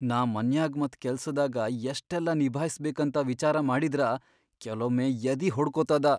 ನಾ ಮನ್ಯಾಗ್ ಮತ್ ಕೆಲ್ಸದಾಗ ಯಷ್ಟೆಲ್ಲಾ ನಿಭಾಯ್ಸ್ಬೇಕಂತ ವಿಚಾರ ಮಾಡಿದ್ರ ಕೆಲೊಮ್ಮೆ ಯದಿ ಹೊಡ್ಕೊತದ.